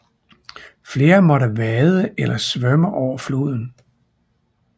Flere måtte vade eller svømme over floden